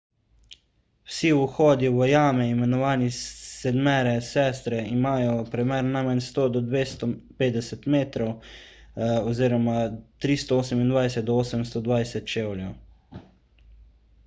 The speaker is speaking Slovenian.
vsi vhodi v jame imenovani sedmere sestre imajo premer najmanj 100–250 metrov 328–820 čevljev